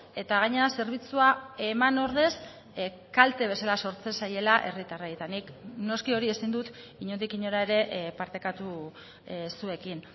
eta gainera zerbitzua eman ordez kalte bezala sortzen zaiela herritarrei eta nik noski hori ezin dut inondik inora ere partekatu zuekin